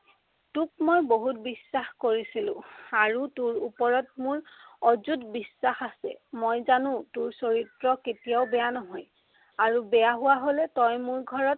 তোক মই বহুত বিশ্বাস কৰিছিলো। আৰু তোৰ ওপৰত মোৰ অযুত বিশ্বাস আছে। মই জানো তোৰ চৰিত্ৰ কেতিয়াও বেয়া নহয়। আৰু বেয়া হোৱা হ'লে তই মোৰ ঘৰত